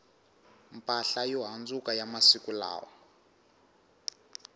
mpahla yo handzuka ya masiku lawa